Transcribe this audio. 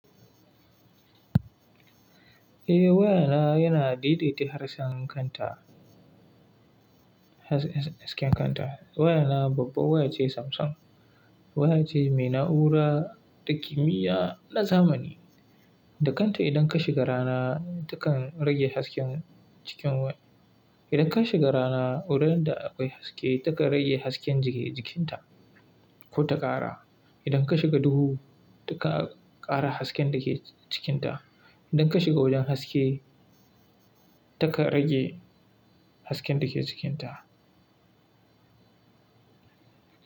Eh waya na yana daidaita harshen kanta, hasken kanta. Waya na babba waya ce Samsung, waya ce mai na'ura da kimiyya na zamani. Da kanta idan ka shiga rana takan rage hasken cikin waya. Idan ka shiga rana wurin da akwai haske takan rage hasken jikin ta ko ta ƙara. Idan ka shiga duhu takan ƙara hasken da ke cikin ta. Idan ka shiga wajen haske taka rage hasken da ke cikin ta.